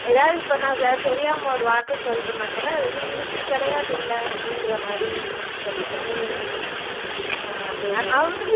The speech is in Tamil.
எதாவது இப்போ நான் இப்போ தெரியாம ஒரு வார்த்தை சொல்லிட்டேன்னா கூட வந்து இது இப்படி கிடையாதுல்ல அப்படின்ற மாதிரி சொல்லிட்டுருந்தாங்க ஆம அ அவங்களும்